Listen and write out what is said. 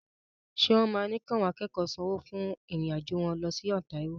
Ṣé wọ́n máa ní kí àwọn akẹ́kọ̀ọ́ sanwó fún ìrìn-àjò wọn lọ sí Ontario?